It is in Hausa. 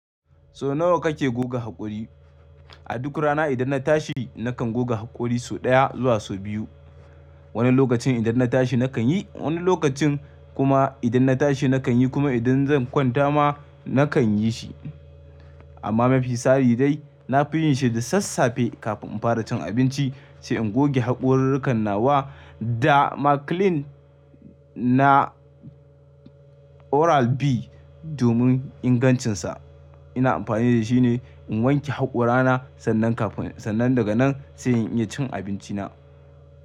So nawa kake goga haƙori? A duk rana idan na tashi nakan goga haƙori sau ɗaya zuwa sau biyu. Wani lokacin idan na tashi nakan yi, wani lokacin kuma idan na tashi nakan yi kuma idan zan kwanta ma nakan yi shi. Amma mafi tsari dai na fi yin shi da sassafe kafin in fara cin abinci sai in goge haƙororrukan nawa da Maclean na Oral B. Domin ingancinsa ina amfani da shi ne in wanke haƙorana sannan kafin sannan daga nan sai in iya cin abinci na.